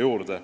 juurde.